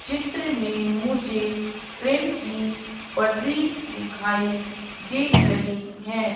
चित्र में मुझे ट्रेन की पटरी दिखाई दे रही है।